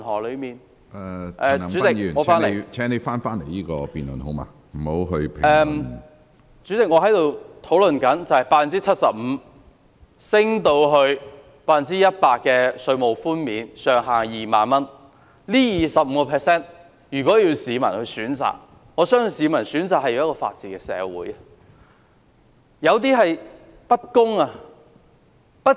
主席，我正在討論稅務寬免的百分比由 75% 提高至 100%， 這25個百分點的調升，如果要市民選擇的話，我相信他們寧願要一個法治社會。